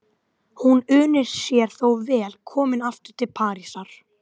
Hún unir sér þó vel komin aftur til Parísar.